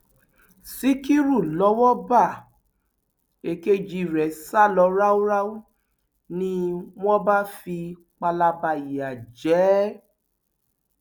ṣíkúrú lowó bá èkejì rẹ sá lọ ráúráú ni wọn bá fi palaba ìyà jẹ ẹ